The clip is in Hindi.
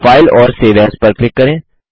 फाइल और सेव एएस पर क्लिक करें